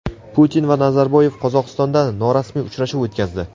Putin va Nazarboyev Qozog‘istonda norasmiy uchrashuv o‘tkazdi.